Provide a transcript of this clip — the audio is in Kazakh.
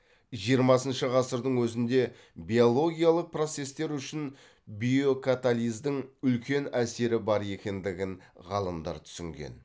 жиырмасыншы ғасырдың өзінде биологиялық процестер үшін биокатализдің үлкен әсері бар екендігін ғалымдар түсінген